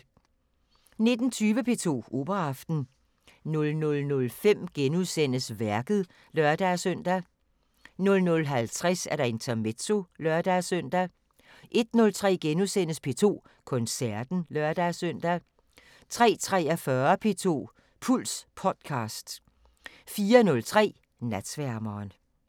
19:20: P2 Operaaften 00:05: Værket *(lør-søn) 00:50: Intermezzo (lør-søn) 01:03: P2 Koncerten *(lør-søn) 03:43: P2 Puls Podcast 04:03: Natsværmeren